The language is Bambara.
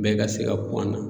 Bɛɛ ka se ka ku an na.